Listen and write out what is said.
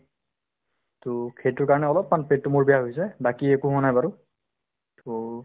to সেইটোৰ কাৰণে অলপমান পেটতো মোৰ বেয়া হৈছে বাকি একো হোৱা নাই বাৰু to